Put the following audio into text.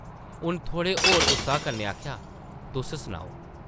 उन्न थोह्ड़े होर उत्साह् कन्नै आखेआ ,‘‘ तुस सनाओ। ’’